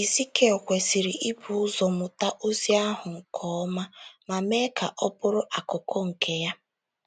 Ezikiel kwesịrị ibu ụzọ mụta ozi ahụ nke ọma ma mee ka ọ bụrụ akụkụ nke ya.